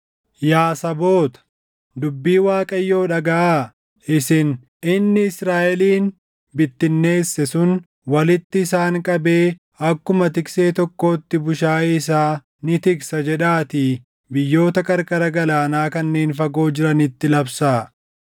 “Yaa saboota, dubbii Waaqayyo dhagaʼaa; isin, ‘Inni Israaʼelin bittinneesse sun walitti isaan qabee akkuma tiksee tokkootti bushaayee isaa ni tiksa’ jedhaatii biyyoota qarqara galaanaa kanneen fagoo jiranitti labsaa.